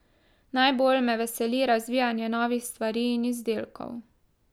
Najbolj me veseli razvijanje novih stvari in izdelkov.